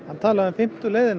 var talað um fimm leiðina